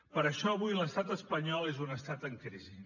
per això avui l’estat espanyol és un estat en crisi